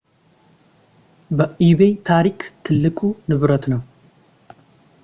በኢቤይ ታሪክ ትልቁ ንብረት ነው